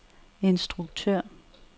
instruktør